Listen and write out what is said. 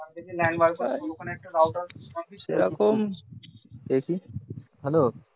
সেরকম দেখি hello